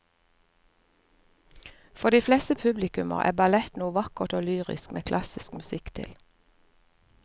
For de fleste publikummere er ballett noe vakkert og lyrisk med klassisk musikk til.